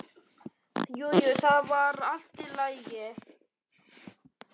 Jú, jú, það var allt í lagi.